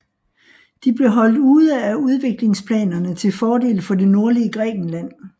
De blev holdt ude af udviklingsplanerne til fordel for det nordlige Grækenland